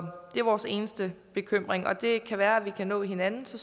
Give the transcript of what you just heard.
det er vores eneste bekymring det kan være at vi kan nå hinanden så